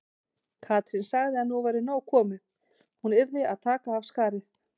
Katrín sagði að nú væri nóg komið, hún yrði að taka af skarið.